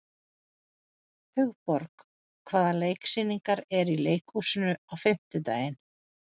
Hugborg, hvaða sýningar eru í leikhúsinu á fimmtudaginn?